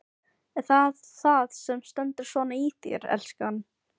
Er það það sem stendur svona í þér, elskan?